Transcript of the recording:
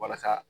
Walasa